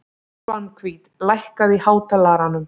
Svanhvít, lækkaðu í hátalaranum.